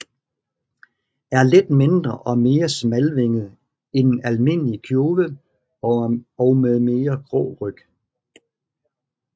Er lidt mindre og mere smalvinget end almindelig kjove og med mere grå ryg